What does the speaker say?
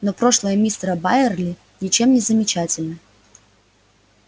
но прошлое мистера байерли ничем не замечательно